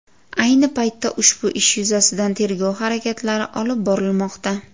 Ayni paytda ushbu ish yuzasidan tergov harakatlari olib borilmoqda.